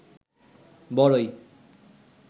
বরই